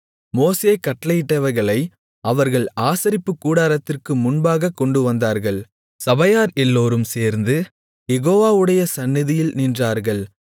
மோசே கட்டளையிட்டவைகளை அவர்கள் ஆசரிப்புக்கூடாரத்திற்கு முன்பாகக் கொண்டுவந்தார்கள் சபையார் எல்லோரும் சேர்ந்து யெகோவாவுடைய சந்நிதியில் நின்றார்கள்